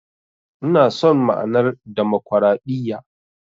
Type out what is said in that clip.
Ina son ma'anar Damakwaraɗiyya.